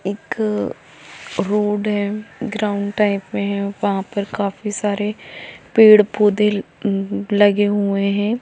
एक रोड हैं ground type मे हैं वहाँ पर काफी सारे पेड़ पौधे लगे हुए हैं।